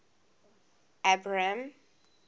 abram